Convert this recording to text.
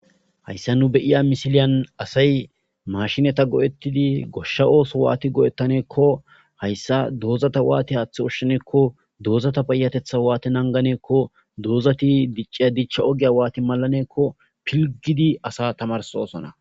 Haysan nu beyiya misiliyan asay mashineta go'eti gosha otho wati go'etane gikko haysa dozata wati hatha ushane gikko dazata payateta wati nagane gikko dozata diciya dicha ogiya pilgidi asa tamarisosona